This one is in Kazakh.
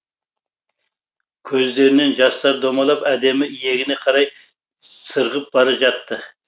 көздерінен жастар домалап әдемі иегіне қарай сырғып бара жатты